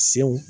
Sew